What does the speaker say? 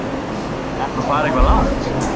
Ertu að fara eitthvað langt?